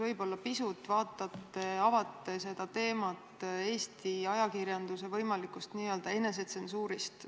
Võib-olla pisut avate Eesti ajakirjanduse võimaliku n-ö enesetsensuuri teemat.